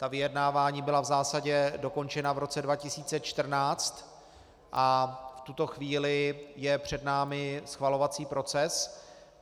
Ta vyjednávání byla v zásadě dokončena v roce 2014 a v tuto chvíli je před námi schvalovací proces.